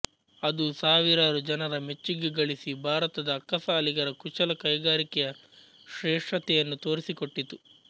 ಅದು ಸಾವಿರಾರು ಜನರ ಮೆಚ್ಚುಗೆ ಗಳಿಸಿ ಭಾರತದ ಅಕ್ಕಸಾಲಿಗರ ಕುಶಲ ಕೈಗಾರಿಕೆಯ ಶ್ರೇಷ್ಠತೆಯನ್ನು ತೋರಿಸಿಕೊಟ್ಟಿತು